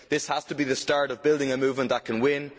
This has to be the start of building a movement that can win.